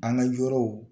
An ka yɔrɔw